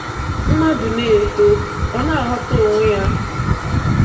Mmadu na-eto, Ọ na ghọta onwe ya.